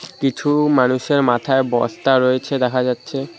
কিছু মানুষের মাথায় বস্তা রয়েছে দেখা যাচ্ছে।